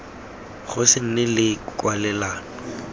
go se nne le kwalelano